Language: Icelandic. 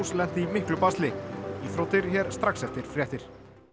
lenti í miklu basli íþróttir hér strax eftir fréttir